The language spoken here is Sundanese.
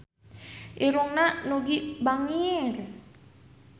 Irungna Nugie bangir